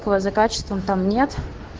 то за качеством там нет